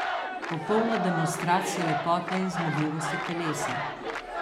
Popolna demonstracija lepote in zmogljivosti telesa.